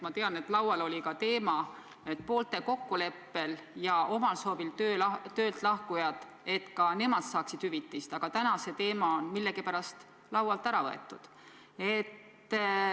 Ma tean, et laual oli ka ettepanek, et poolte kokkuleppel ja omal soovil töölt lahkujad saaksid hüvitist, aga täna on see teema millegipärast laualt ära võetud.